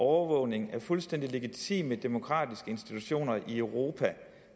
overvågning af fuldstændig legitime demokratiske institutioner i europa